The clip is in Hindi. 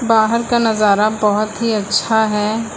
बाहर का नजारा बहुत ही अच्छा है।